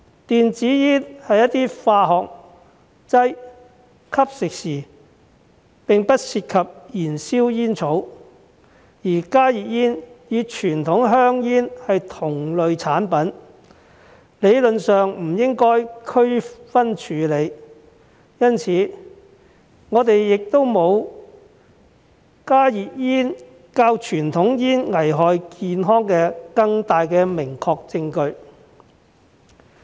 電子煙是一些化學劑，吸食時並不涉及燃燒煙草，而加熱煙與傳統香煙是同類產品，理論上不應區分處理，因此，我們亦沒有加熱煙較傳統香煙更危害健康的明確證據。